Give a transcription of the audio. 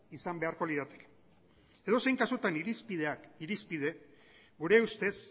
izan beharko lirateke edozein kasutan irizpideak irizpide gure ustez